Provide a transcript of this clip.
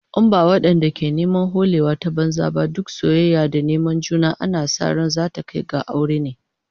In ba wadanda ke neman holewa ta banza ba, duk soyayya da neman juna ana sa ran zata kai ga aure ne